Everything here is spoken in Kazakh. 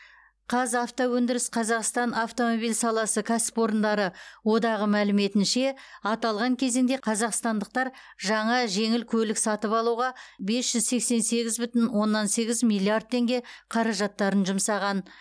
қазавтоөндіріс қазақстан автомобиль саласы кәсіпорындары одағы мәліметінше аталған кезеңде қазақстандықтар жаңа жеңіл көлік сатып алуға бес жүз сексен сегіз бүтін оннан сегіз миллиард теңге қаражаттарын жұмсаған